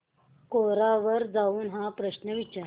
कोरा वर जाऊन हा प्रश्न विचार